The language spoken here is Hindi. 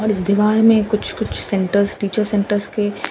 और इस दीवार में कुछ कुछ सेंटर टीचर सेंटर्स के--